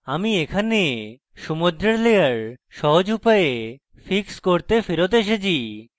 আমি এখানে সমুদ্রের layer সহজ উপায়ে fix করতে ফেরৎ এসেছি